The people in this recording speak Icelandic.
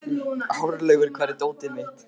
Hárlaugur, hvar er dótið mitt?